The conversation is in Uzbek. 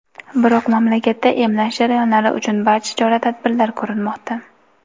biroq mamlakatda emlash jarayonlari uchun barcha chora-tadbirlar ko‘rilmoqda.